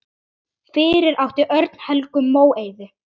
Fyrir átti Örn Helgu Móeiði.